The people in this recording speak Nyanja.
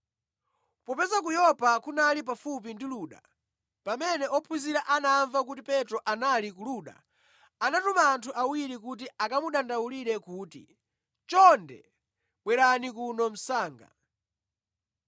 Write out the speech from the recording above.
Popeza ku Yopa kunali pafupi ndi Luda; pamene ophunzira anamva kuti Petro anali ku Luda, anatuma anthu awiri kuti akamudandaulire kuti, “Chonde bwerani kuno msanga!”